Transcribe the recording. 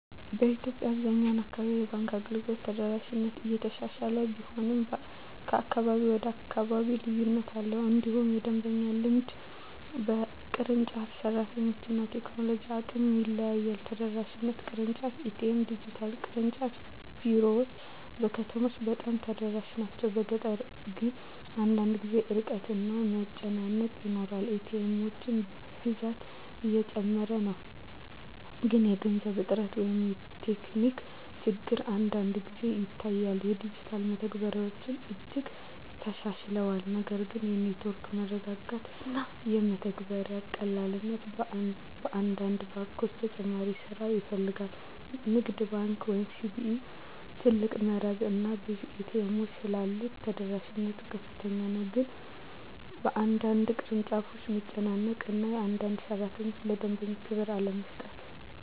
በኢትዮጵያ አብዛኛው አካባቢ የባንክ አገልግሎት ተደራሽነት እየተሻሻለ ቢሆንም ከአካባቢ ወደ አካባቢ ልዩነት አለ። እንዲሁም የደንበኛ ልምድ በቅርንጫፍ፣ በሰራተኞች እና በቴክኖሎጂ አቅም ይለያያል። ተደራሽነት (ቅርንጫፎች፣ ኤ.ቲ.ኤም፣ ዲጂታል) ቅርንጫፍ ቢሮዎች በከተሞች በጣም ተደራሽ ናቸው፤ በገጠር ግን አንዳንድ ጊዜ ርቀት እና መጨናነቅ ይኖራል። ኤ.ቲ. ኤሞች ብዛት እየጨመረ ነው፣ ግን የገንዘብ እጥረት ወይም ቴክኒክ ችግር አንዳንድ ጊዜ ይታያል። ዲጂታል መተግበሪያዎች እጅግ ተሻሽለዋል፣ ነገር ግን የኔትወርክ መረጋጋት እና የመተግበሪያ ቀላልነት በአንዳንድ ባንኮች ተጨማሪ ስራ ይፈልጋል። ንግድ ባንክ ኢትዮጵያ (CBE) ትልቅ መረብ እና ብዙ ኤ.ቲ. ኤሞች ስላሉት ተደራሽነት ከፍተኛ ነው፤ ግን በአንዳንድ ቅርንጫፎች መጨናነቅ እና አንዳንድ ሠራተኞች ለደንበኛ ክብር አለመስጠት